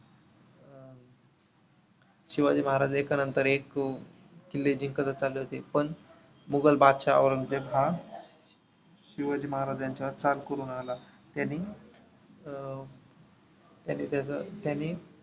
शिवाजी महाराज एका नंतर एक किल्ले जिंकतच चालले होते, पण मुघल बादशाह औरंगजेब हा शिवाजी महाराज यांच्यावर चाल करून आला. त्याने अं त्यांनी त्याचा त्यांनी